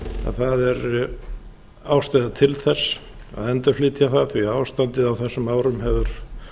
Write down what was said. að það er ástæða til þess að endurflytja það því að ástandið á þessum árum hefur